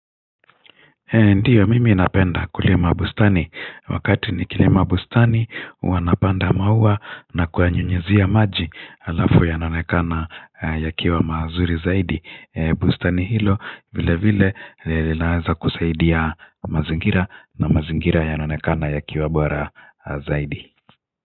Ee ndiyo mimi ninapenda kulima bustani wakati nikilima bustani huwa napanda maua na kuyanyunyuzia maji alafu yanaonekana yakiwa mazuri zaidi bustani hilo vile vile linaweza kusaidia mazingira na mazingira yanaonekana yakiwa bora zaidi.